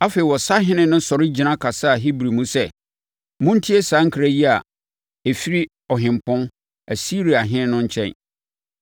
Afei, ɔsahene no sɔre gyina kasaa Hebri mu sɛ, “Montie saa nkra yi a ɛfiri ɔhempɔn, Asiriahene no nkyɛn!